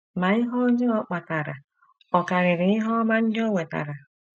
Ma ihe ọjọọ ọ kpatara ọ̀ karịrị ihe ọma ndị o wetara?